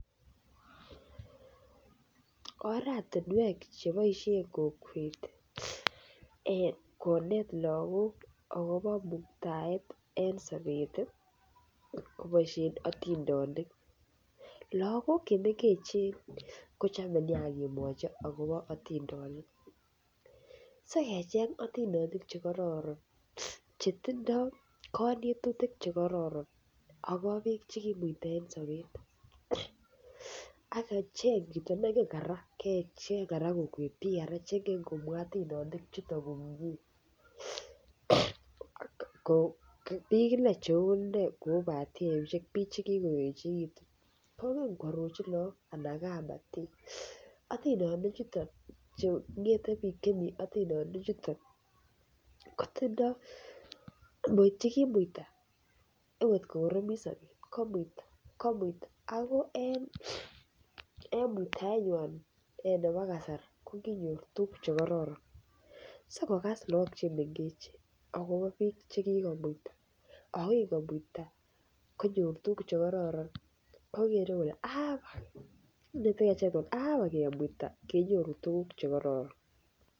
Oratinwek che boisien kokwet konet lagok agobo muitaet en sobet koboisien otindonik. Lagok che mengechen kochome nya ingemwochi agobo otindenik si kecheng otindonik che kororon chetindo konetutik che kororon agobo biik che kimuita en sobet. Ak kecheng chito nengen kora, kecheng kokwet chito neingen komwa otindenik biik inei cheu iney batiemishek biik che kigoechegitun. Ko ngen ko arorji lagok anan kamtik otindonik chuton che ngete biik chemi otindonik chuto che kimuita ot ngo kogoromit sobet komuita komuita ago en muitaenywan nebo kasari ko kinyor tuguk che kororon sikokas lagok che mengechen agobo biik che kimuita ago kingomuita konyor tuguk che kororon. Kogere kole abak ingemuita kenyoru tuguk che kororon.